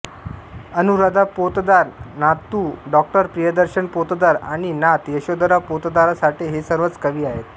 अनुराधा पोतदार नातू डॉ प्रियदर्शन पोतदार आणि नात यशोधरा पोतदारसाठे हे सर्वच कवी आहेत